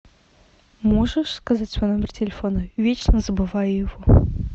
можешь сказать свой номер телефона вечно забываю его